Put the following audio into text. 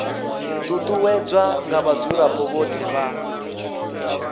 ṱuṱuwedzwa nga vhadzulapo vhothe vha